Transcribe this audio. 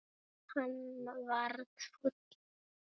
Hann varð fúll.